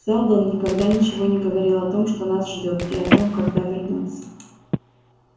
сэлдон никогда ничего не говорил о том что нас ждёт и о том когда вернётся